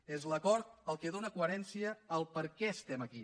és l’acord el que dóna coherència al perquè estem aquí